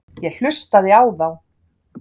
Ég hlustaði á þá.